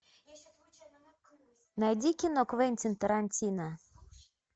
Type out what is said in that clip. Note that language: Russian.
найди кино квентин тарантино